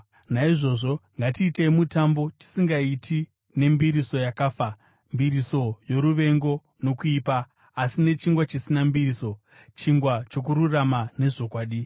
Naizvozvo ngatiitei mutambo, tisingaiti nembiriso yakafa, mbiriso yoruvengo nokuipa, asi nechingwa chisina mbiriso, chingwa chokururama nezvokwadi.